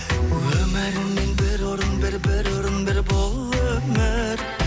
өміріңнен бір орын бер бір орын бер бұл өмір